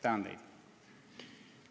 Tänan teid!